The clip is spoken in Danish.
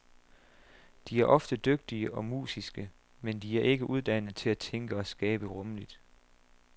De er ofte dygtige og musiske, men de er ikke uddannet til at tænke og skabe rumligt.